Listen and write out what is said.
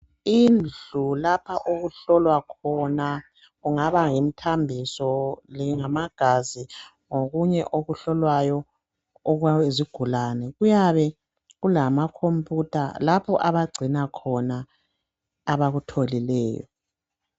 Indlu lapha okuhlolwa khona kungaba yimithambiso kumbe ngamagazi ngokunye okuhlolwayo okwesigulane kuyabe kulamakhomputha lapho abagcina khona abakutholileyo.